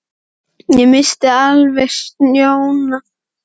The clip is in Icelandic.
Ég missti alveg sjónar á tímanum vegna myrkursins